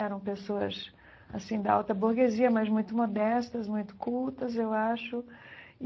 Eram pessoas assim da alta burguesia, mas muito modestas, muito cultas, eu acho e.